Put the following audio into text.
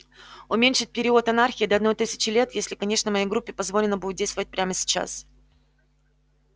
уменьшить период анархии до одной тысячи лет если конечно моей группе позволено будет действовать прямо сейчас